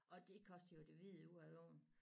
Og det koster jo det hvide ud af æ øjne